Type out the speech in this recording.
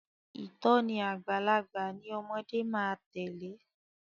Ìtòní àgbàlagbà ni ọmọde máa tèlé.